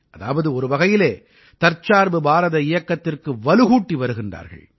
அதாவது ஒருவகையில் தற்சார்பு பாரத இயக்கத்திற்கு வலுகூட்டி வருகிறார்கள்